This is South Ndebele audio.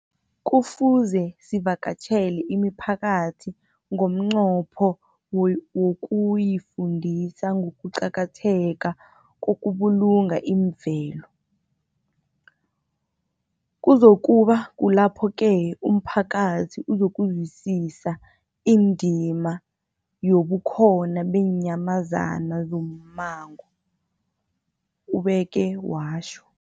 Kufuze sivakatjhele imiphakathi ngomnqopho wokuyifundisa ngokuqakatheka kokubulunga imvelo. Kuzoku ba kulapho-ke umphakathi uzokuzwisisa indima yobukhona beenyamazana zommango, ubeke watjho.